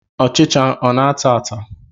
Ọchịcha ọ na-ata ata?